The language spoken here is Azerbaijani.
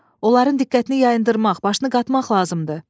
Onların diqqətini yayındırmaq, başını qatmaq lazımdır.